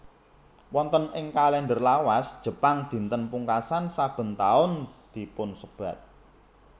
Wonten ing kalender lawas Jepang dinten pungkasan saben taun dipunsebat